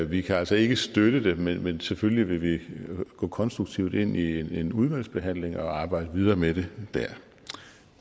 vi kan altså ikke støtte det men vil selvfølgelig gå konstruktivt ind i en udvalgsbehandling og arbejde videre med det der tak